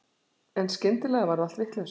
En skyndilega varð allt vitlaust.